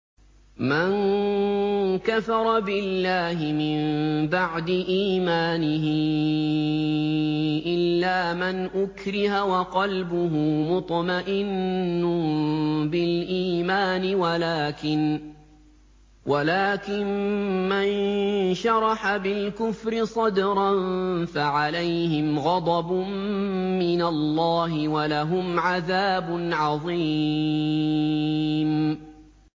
مَن كَفَرَ بِاللَّهِ مِن بَعْدِ إِيمَانِهِ إِلَّا مَنْ أُكْرِهَ وَقَلْبُهُ مُطْمَئِنٌّ بِالْإِيمَانِ وَلَٰكِن مَّن شَرَحَ بِالْكُفْرِ صَدْرًا فَعَلَيْهِمْ غَضَبٌ مِّنَ اللَّهِ وَلَهُمْ عَذَابٌ عَظِيمٌ